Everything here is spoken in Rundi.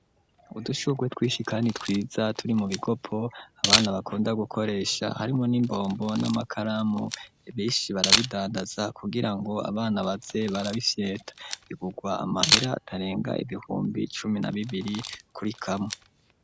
Udushugwe twinshi kandi twiza turi mu bikopo abana bakunda gukoresha, harimwo n'imbombo n'amakaramu, benshi barabidandaza kugira ngo abana baze barabifyeta. Bigugwa amahera atarenga ibihumbi cumi na bibiri kuri kamwe.